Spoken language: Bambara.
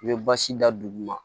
I bɛ basi da dugu ma